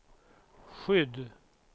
skydd